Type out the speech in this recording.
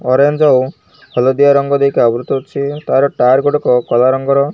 Orange ହଳଦିଆ ରଙ୍ଗ ଦେଇକି ଆବୃତ ଅଛି ତାର ଟାର ଗୁଡ଼ିକ କଳା ରଙ୍ଗର।